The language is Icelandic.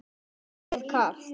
Er þér kalt?